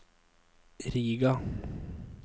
Riga